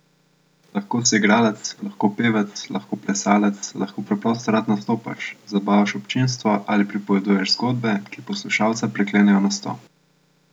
Lahko si igralec, lahko pevec, lahko plesalec, lahko preprosto rad nastopaš, zabavaš občinstvo ali pripoveduješ zgodbe, ki poslušalca priklenejo na stol.